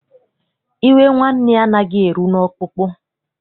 Iwe nwanne anaghị eru n'ọkpụkpụ.